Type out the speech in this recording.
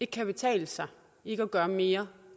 kan betale sig ikke at gøre mere